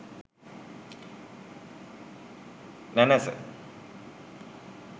nanasa